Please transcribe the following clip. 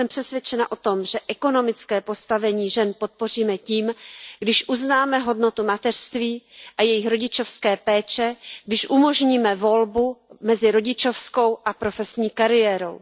Jsem přesvědčena o tom, že ekonomické postavení žen podpoříme tím, když uznáme hodnotu mateřství a jejich rodičovské péče, když umožníme volbu mezi rodičovskou a profesní kariérou.